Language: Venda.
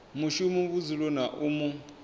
mushumi vhudzuloni ha u mu